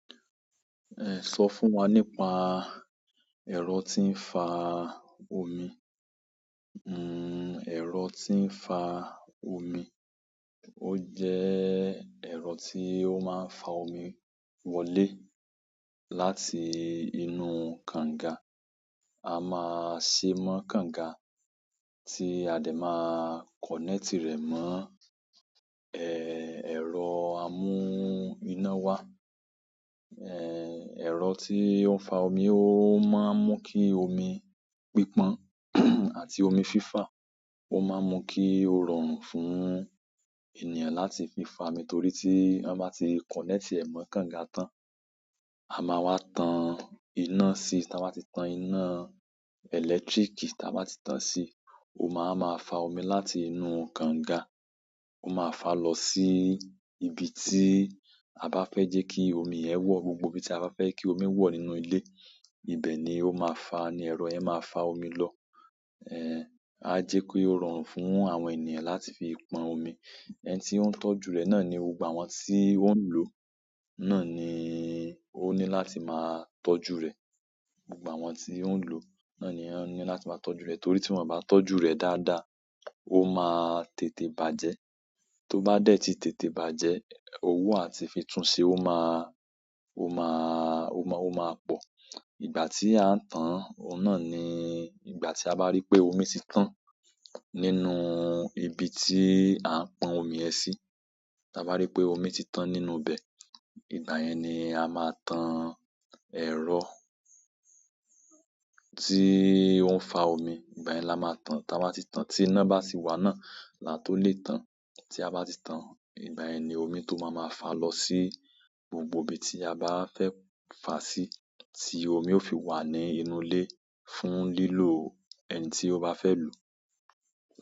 Ẹ, sọ fún wa nípa ẹ̀rọ tí ń fa omi. Hmm, ẹ̀rọ tí ń fa omí. Ó jẹ́ ẹ̀rọ tí ó máa ń fa omi wọlé láti inú kànga. A máa ṣe mọ́ kànga tí a dẹ̀ máa connect rẹ̀ mọ́ ẹ, ẹ̀rọ amú iná wa. Eh, ẹ̀rọ tí ó ń fa omi ó máa ń mú kí omi pípon àti omi fífà, ó máa ń mú kí ó rọrùn fún ènìyàn láti fi fà mi, nítorí tí wọ́n bá ti connect ẹ̀ mọ́ kànga tán, a máa wá tan iná sí, tí a bá ti tan iná ẹlẹtíríkì tí a bá ti tan sí, ó máa máa fa omi láti inú kànga. Ó máa fa lọ sí ibi tí a bá fẹ́ jẹ́ kí omi ẹ̀ wọ̀, gbogbo ibi tí a bá fẹ́ kí omi wọ̀ nínú ilé, ibẹ̀ ni ó máa fa, ni ẹ̀rọ yẹn máa fa omi lọ. Eh, a jẹ́ kó rọrùn fún àwọn ènìyàn láti fi pọn omi. Ẹni tí ó ń tọ́jú rẹ̀ náà ni, gbogbo àwọn tí ó ń lò náà ni ó ní láti máa tọ́jú rẹ̀. Gbogbo àwọn tí ó ń lò náà ni wọn ní láti máa tọ́jú rẹ̀, torí tí wọ́n bá tọ́jú rẹ̀ dáadáa, ó máa tètè bàjẹ́. Tó bá dẹ́ tí tètè bàjẹ́, owó àti fífi tún ṣe ó máa, ó máa, ó máa pọ̀. Ìgbà tí à ń tan, òun náà ni ìgbà tí a bá rí pé omi ti tán nínú ibi tí à ń pọn omi ẹ sí. Ti a bá rí pé omi ti tán nínú ibẹ̀, ìgbà yẹn ni a máa tan ẹ̀rọ tí ó ń fa omi. Ìgbà yẹn là máa tan. Tí a bá ti tan, tí iná bá sì wà náà là tó lè tan. Tí a bá ti tan, ìgbà yẹn ni omi tó máa máa fa lọ sí gbogbo ibi tí a bá fẹ́ fàá sí, tí omi ó fi wà ní inú ilé fún lílò ẹni tí ó bá fẹ́ lò.